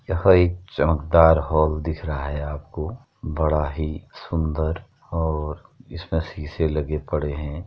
यह एक चमकदार हॉल दिख रहा है आपको। बड़ा ही सुंदर और इसमें शीशे लगे पड़े हैं।